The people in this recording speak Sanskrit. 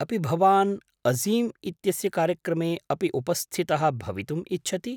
अपि भवान् अजीम् इत्यस्य कार्यक्रमे अपि उपस्थितः भवितुम् इच्छति?